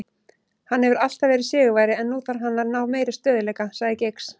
Hann hefur alltaf verið sigurvegari en nú þarf hann að ná meiri stöðugleika, sagði Giggs.